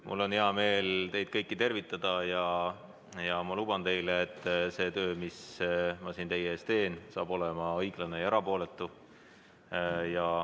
Mul on hea meel teid kõiki tervitada ja ma luban teile, et see töö, mis ma siin teie ees teen, saab olema õiglane ja erapooletu.